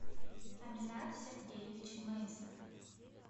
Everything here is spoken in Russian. аминат сергеевич мейнснер